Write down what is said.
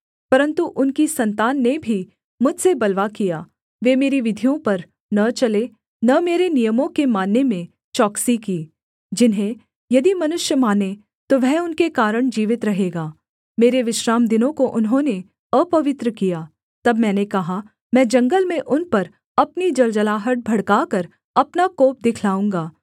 परन्तु उनकी सन्तान ने भी मुझसे बलवा किया वे मेरी विधियों पर न चले न मेरे नियमों के मानने में चौकसी की जिन्हें यदि मनुष्य माने तो वह उनके कारण जीवित रहेगा मेरे विश्रामदिनों को उन्होंने अपवित्र किया तब मैंने कहा मैं जंगल में उन पर अपनी जलजलाहट भड़काकर अपना कोप दिखलाऊँगा